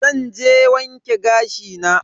Zan je wanke gashi na.